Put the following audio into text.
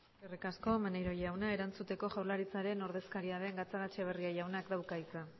eskerrik asko maneiro jauna erantzuteko jaurlaritzaren ordezkaria den gatzagaetxebarria jaunak dauka hitza